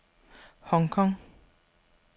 Hong Kong